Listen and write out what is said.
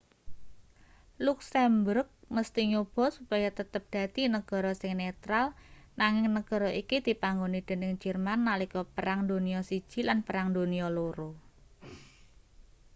luksemburg mesthi nyoba supaya tetep dadi negara sing netral nanging negara iki dipanggoni dening jerman nalika perang donya i lan perang donya ii